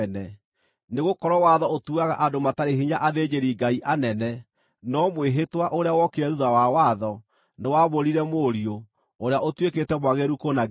Nĩgũkorwo watho ũtuaga andũ matarĩ hinya athĩnjĩri Ngai anene; no mwĩhĩtwa, ũrĩa wokire thuutha wa watho, nĩwaamũrire Mũriũ, ũrĩa ũtuĩkĩte mwagĩrĩru kũna nginya tene.